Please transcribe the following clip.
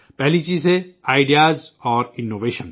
پہلی چیز ہے خیال اور اختراع